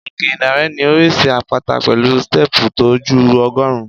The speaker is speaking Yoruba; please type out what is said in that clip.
Òkè Ìdànrè ní oríṣi àpáta pẹ̀lú stẹ́ẹ̀pù tó ju ọgọ́rùn-ún.